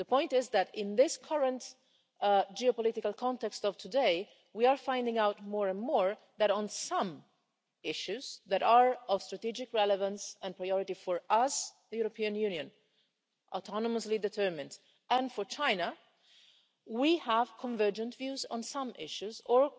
The point is that in the current geopolitical context of today, we are finding out more and more that on some issues that are of strategic relevance and priority for us, the European Union, autonomously determined, and for China, we have convergent views on some issues or